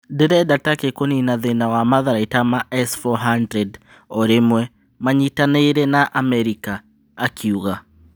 "Ndĩrenda Takĩ kũnina thĩna wa Matharaita ma S-400 o rĩmwe manyitanĩire na Amerika," akiuga.